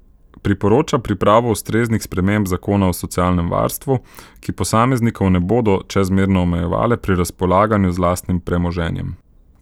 Priporoča pripravo ustreznih sprememb zakona o socialnem varstvu, ki posameznikov ne bodo čezmerno omejevale pri razpolaganju z lastnim premoženjem.